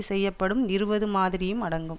செய்யப்படும் இருபது மாதிரியும் அடங்கும்